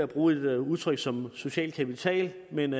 bruge et udtryk som social kapital men